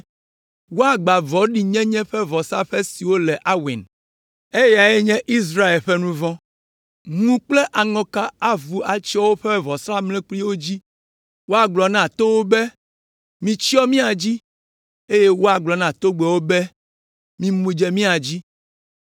Woagbã vɔ̃ɖinyenye ƒe vɔsaƒe siwo le Aven, eyae nye Israel ƒe nu vɔ̃. Ŋu kple aŋɔka avu atsyɔ woƒe vɔsamlekpuiwo dzi. Woagblɔ na towo be, “Mitsyɔ mía dzi,” eye woagblɔ na togbɛwo be, “Mimu dze mía dzi.”